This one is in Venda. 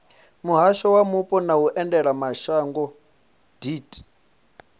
muhasho wa mupo na vhuendelamashango deat